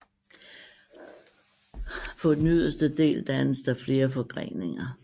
På den yderste del dannes der flere forgreninger